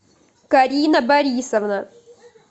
карина борисовна